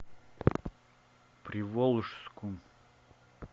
приволжску